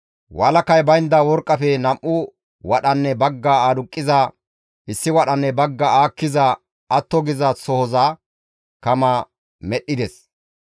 Walakay baynda worqqafe nam7u wadhanne baggaa aduqqiza, issi wadhanne baggaa aakkiza atto geetettiza sohoza kama medhdhides.